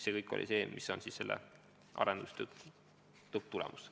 See kõik on siis selle arendustöö lõpptulemus.